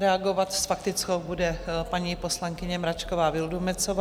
Reagovat s faktickou bude paní poslankyně Mračková Vildumetzová.